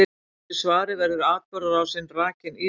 Í þessu svari verður atburðarásin rakin ítarlega.